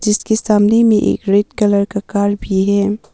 जिसके सामने में एक रेड कलर का कार भी है।